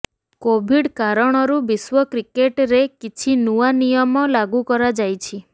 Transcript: Covid କାରଣରୁ ବିଶ୍ବ କ୍ରିକେଟରେ କିଛି ନୂଆ ନିୟମ ଲାଗୁ କରାଯାଇଛି